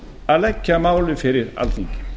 að leggja málið fyrir alþingi